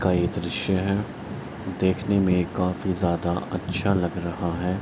कई दृश्य है देखने में काफी जादा अच्छा लग रहा है।